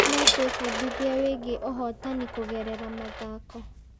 No twĩbundithie wĩgiĩ ũhotani kũgerera mathako.